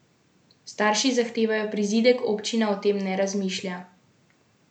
Starši zahtevajo prizidek, občina o tem ne razmišlja.